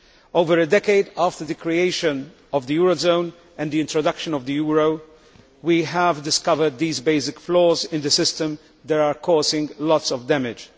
Over a decade after the creation of the eurozone and the introduction of the euro, we have discovered basic flaws in the system that are causing damage.